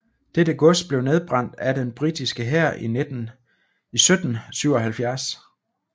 Dette gods blev nedbrændt af den britiske hær i 1777